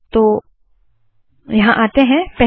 तो यहाँ आते है